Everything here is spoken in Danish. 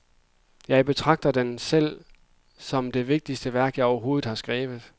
Jeg betragter den selv som det vigtigste værk, jeg overhovedet har skrevet.